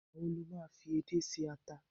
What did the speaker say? igba wo lo ma fi edé se ata